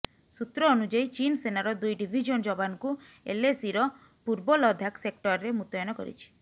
ସୂତ୍ର ଅନୁଯାୟୀ ଚୀନ୍ ସେନାର ଦୁଇ ଡିଭିଜନ୍ ଯବାନଙ୍କୁ ଏଲଏସିର ପୂର୍ବ ଲଦାଖ ସେକ୍ଟରରେ ମୁତୟନ କରିଛି